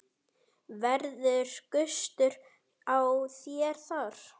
Verður gustur á þér þar?